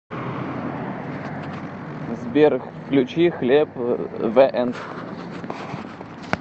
сбер включи хлеб зе энд